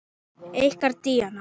Ykkar Díana.